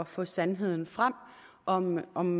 få sandheden frem om om